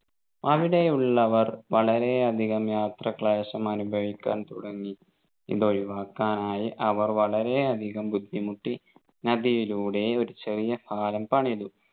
അവിടെ ഉള്ളവർ വളരെയധികം യാത്രാക്ലേശം അനുഭവിക്കാൻ തുടങ്ങി ഇതൊഴിവാക്കാനായി അവർ വളരെ അധികം ബുദ്ധിമുട്ടി നദിയിലൂടെ ഒരു ചെറിയ പാലം പണിതു